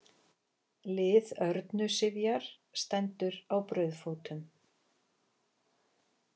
Lið Örnu Sifjar stendur á brauðfótum